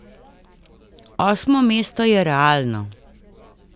Osmo mesto je realno.